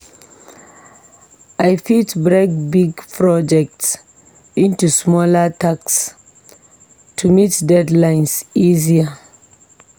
I fit break big projects into smaller tasks to meet deadlines easier.